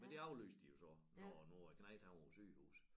Men det aflyste de jo så når nu æ knejt han var på sygehus